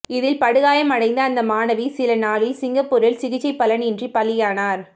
இதில் படுகாயம் அடைந்த அந்த மாணவி சில நாளில் சிங்கப்பூரில் சிகிச்சை பலன் இன்றி பலியானார்